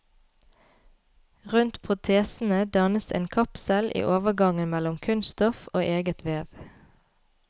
Rundt protesene dannes en kapsel i overgangen mellom kunststoff og eget vev.